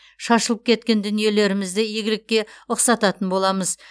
шашылып кеткен дүниелерімізді игілікке ұқсататын боламыз